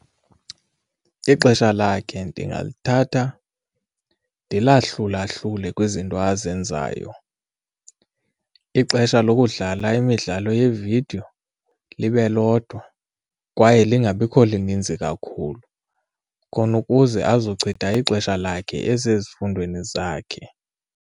Ixesha lakhe ndingalithatha ndilahlulahlule kwizinto azenzayo, ixesha lokudlala imidlalo yeevidiyo libe lodwa kwaye lingabikho lininzi kakhulu khona ukuze azochitha ixesha lakhe esezifundweni zakhe.